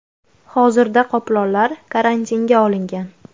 Hozirda qoplonlar karantinga olingan.